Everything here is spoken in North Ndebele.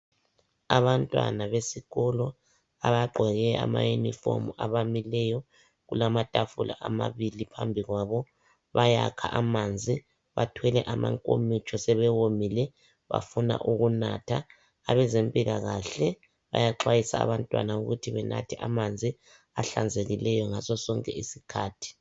abantwana besikolo abagqoke ama uniform abamileyo kulamatafula amabili phambi kwabo bayakha amanzi bathwele amankomitsho sebewomile bafuna ukunatha abezempilakahle bayaxwayisa abantwana ukuthi benathe amanzi ahlanzekileyo ngaso sonke isikhathi